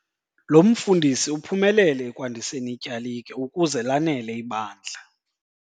Lo mfundisi uphumelele ekwandiseni ityalike ukuze lanele ibandla.